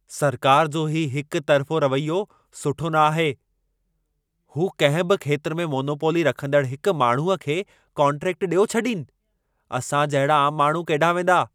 सरकार जो हीउ हिक तरिफ़ो रवैयो सुठो न आहे। हू कंहिं बि खेत्र में मोनोपोली रखंदड़ हिक माण्हूअ खे कोन्ट्रेक्ट ॾियो छॾीनि। असां जहिड़ा आम माण्हू केॾाहिं वेंदा?